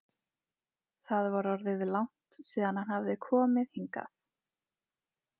Það var orðið langt síðan hann hafði komið hingað.